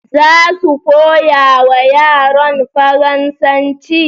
Za su koyawa yaran faransanci